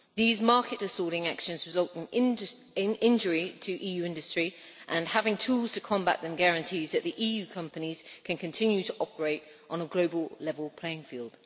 These market distorting actions result in injury to EU industry and having tools to combat them guarantees that the EU companies can continue to operate on a global level playing field.